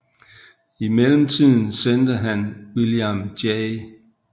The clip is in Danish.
I mellemtiden sendte han William J